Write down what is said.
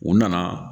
U nana